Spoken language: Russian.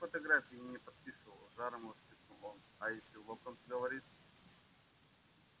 никаких фотографий я не подписывал с жаром воскликнул он а если локонс говорит